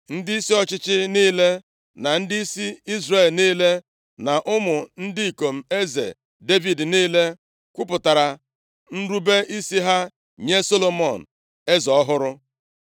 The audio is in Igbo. Ndịisi ọchịchị niile, na ndịisi Izrel niile, na ụmụ ndị ikom eze Devid niile kwupụtara nrube isi ha nye Solomọn, eze ọhụrụ.